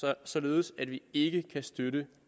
er sådan at vi ikke kan støtte